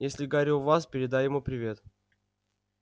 если гарри у вас передай ему привет